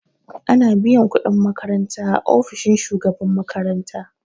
Ana biyan kuɗin makaranta a ofishin shugaban makaranta